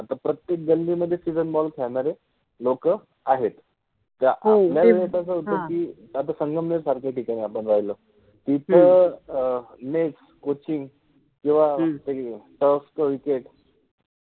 आता प्रत्येक गल्लि मधे सिजन बॉल खेळनारे लोक आहेत, हो, ज्या आपल्यावेळि कस होत कि जर सनगमनेर सारख्या ठिकाणि समजा राहिलो, तिथ अ नेट, कोचिंग जेव्हा क्रिकेट {cricket}